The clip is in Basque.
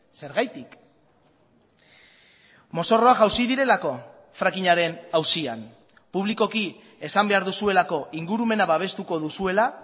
zergatik mozorroa jausi direlako frackingaren auzian publikoki esan behar duzuelako ingurumena babestuko duzuela